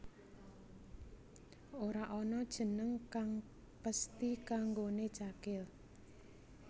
Ora ana jeneng kang pesthi kanggoné Cakil